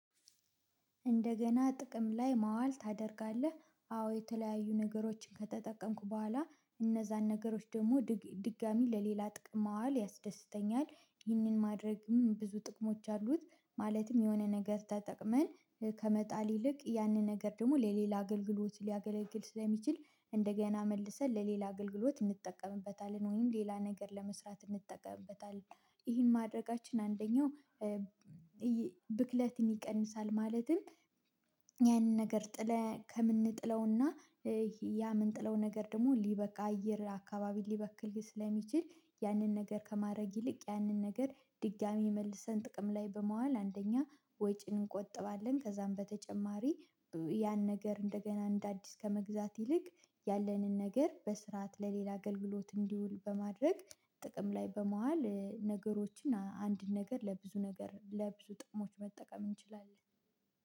እንደገና ጥቅም ላይ ማዋል ታደርጋለህ አዎ የተለያዩ ነገሮችን ከተጠቀምኩ በኋላ እነዛን ነገሮች ደግሞ ድጋሚ ለሌላ ጥቅም ማዋል ያስደስተኛል። ይህንን ማድረግም ብዙ ጥቅሞች አሉት። ማለትም የሆነ ነገር ተጠቅመን ከመጣል ይልቅ ያንን ነገር ደግሞ ለሌላ አገልግሎት ሊያገለግል ስለሚችል እንደገና መልሰን ለሌላ አገልግሎት እንጠቀምበታለን ወይም ሌላ ነገር ለመስራት እንጠቀምበታለን። ይሄን ማድረጋችን አንደኛው ብክለትን ይቀንሳል። ማለትም ያንን ነገር ጥለህ ከምንጥለውና ያ ምንጥለው ነገር ደግሞ ሊበቃ አየር አካባቢ ሊበክል ስለሚችል ያንን ነገር ከማድረግ ይልቅ ያንን ነገር ድጋሚ መልሰን ጥቅም ላይ በመዋል አንደኛ ወጪን እንቆጥባለን። ከዛም በተጨማሪ ያን ነገር እንደገና እንደ አዲስ ከመግዛት ይልቅ ያለንን ነገር በስርዓት ለሌላ አገልግሎት እንዲውል በማድረግ ጥቅም ላይ በዋዋል ነገሮችን አንድ ነገር ለብዙ ነገር ለብዙ ጥቅሞች መጠቀም እንችላለን